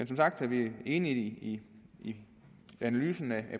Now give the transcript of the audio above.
som sagt er vi enige i analysen af